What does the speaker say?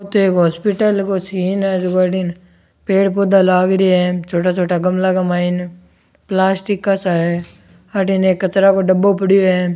अठ एक हॉस्पिटल को सीन है अठन पेड़ पौधा लाग रिया है छोटा छोटा गमला का माई प्लास्टिक का सा है अठन एक कचरो का डब्बा पड़ो है।